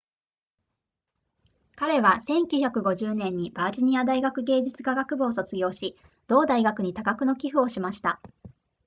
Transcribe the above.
彼は1950年にバージニア大学芸術科学部を卒業し同大学に多額の寄付をしました